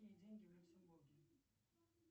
какие деньги в люксембурге